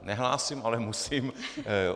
Nehlásím, ale musím.